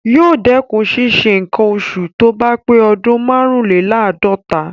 Yóò dẹkùn ṣísẹ nǹkan oṣù tóbá pé ọdún márùnlèláàdọ́ta.